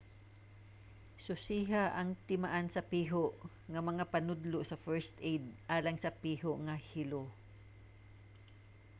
susiha ang timaan sa piho nga mga panudlo sa first aid alang sa piho nga hilo